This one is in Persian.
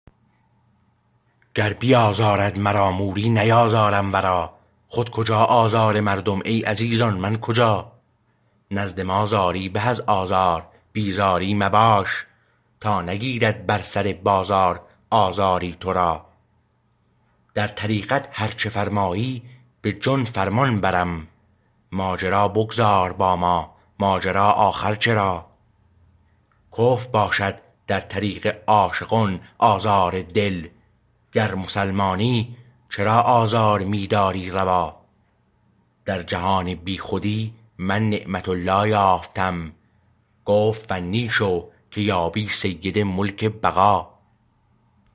گر بیازارد مرا موری نیازارم و را خود کجا آزار مردم ای عزیزان من کجا نزد ما زاری به از آزار بی زاری مباش تا نگیرد بر سر بازار آزاری تو را در طریقت هر چه فرمایی به جان فرمان برم ماجرا بگذار با ما ماجرا آخر چرا کفر باشد در طریق عاشقان آزار دل گر مسلمانی چرا آزار می داری روا در جهان بی خودی من نعمت الله یافتم گفت فنی شو که یابی سید ملک بقا